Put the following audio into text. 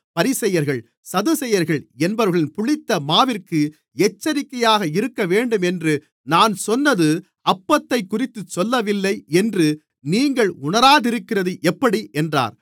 பரிசேயர்கள் சதுசேயர்கள் என்பவர்களின் புளித்த மாவிற்கு எச்சரிக்கையாக இருக்கவேண்டும் என்று நான் சொன்னது அப்பத்தைக்குறித்துச் சொல்லவில்லை என்று நீங்கள் உணராதிருக்கிறது எப்படி என்றார்